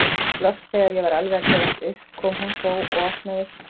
Loks þegar ég var alveg að gefast upp kom hún þó og opnaðist.